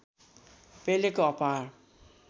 पेलेको अपार